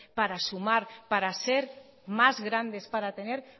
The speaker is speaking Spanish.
para sumar para ser más grandes para tener